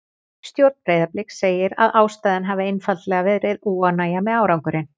Stjórn Breiðabliks segir að ástæðan hafi einfaldlega verið óánægja með árangurinn.